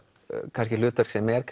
kannski hlutverk sem er